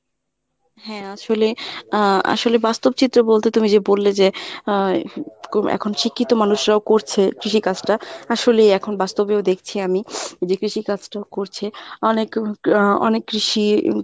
হ্যাঁ আসলে আহ আসলে বাস্তব চিত্র বলতে তুমি যে বললে যে আহ এখন শিক্ষিত মানুষরাও করছে কৃষি কাজটা। আসলেই এখন বাস্তবেই দেখছি আমি যে কৃষি কাজটাও করছে অনেক আহ অনেক কৃষি